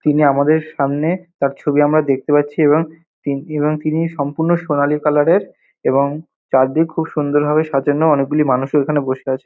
তিনি আমাদের সামনে তার ছবি আমরা দেখতে পাচ্ছি এবং তি এবং তিনি সম্পূর্ণ সোনালী কালার -এর এবং চারদিক খুব সুন্দর ভাবে সাজানো অনেকগুলি মানুষও এখানে বসে আছে।